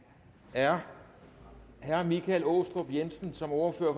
er herre michael aastrup jensen som ordfører